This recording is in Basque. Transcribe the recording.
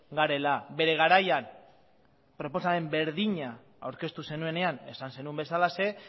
garela bere garaian proposamen berdina aurkeztu zenuenean esan zenuen bezalaxe